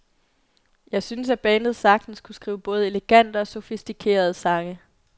Jeg synes at bandet sagtens kunne skrive både elegante og sofistikerede sange.